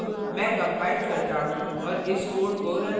अब मैं कंपाइल करता हूँ और इस code को now करता हूँ